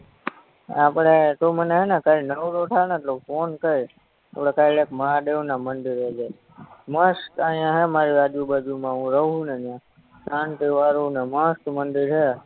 આપણે તું મને હેને કાલ નવરો થાને એટલે ફોન કઈર આપણે કાલ એક મહાદેવના મંદિરે જાહુ મસ્ત આયા હે મારી આજુ બાજુમાં હું રવ હું ને ન્યા શાંતિવારુ ને મસ્ત મંદિર હે